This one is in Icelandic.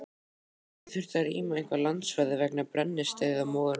En gæti þurft að rýma einhver landsvæði vegna brennisteinsmóðunnar?